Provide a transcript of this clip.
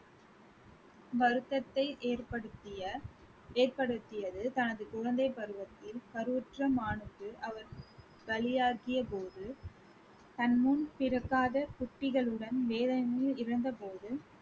வருத்தத்தை ஏற்படுத்திய ஏற்படுத்தியது தனது குழந்தைப் பருவத்தில் கருவுற்ற மானுக்கு அவர் பலியாக்கிய போது தன் முன் பிறக்காத குட்டிகளுடன் வேதனையில் இருந்தபோது